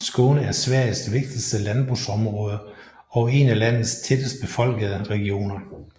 Skåne er Sveriges vigtigste landbrugsområde og en af landets tættest befolkede regioner